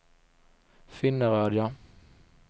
Finnerödja